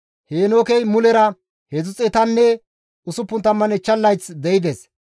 Heenookey mulera 365 layth de7ides;